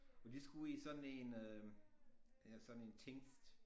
Og de skulle i sådan en øh ja sådan en tingest